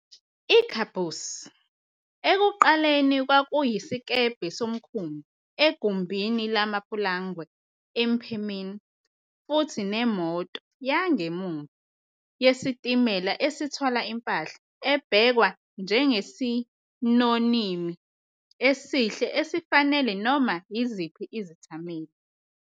I-Caboose, ekuqaleni kwakuyisikebhe somkhumbi egumbini lamapulangwe emphemeni, futhi nemoto "yangemuva" yesitimela esithwala impahla, ebhekwa njengesinonimi esihle esifanele noma iziphi izithameli